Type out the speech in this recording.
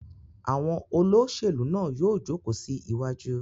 Àwọn olóṣèlú náà yóò jókòó sí iwájú.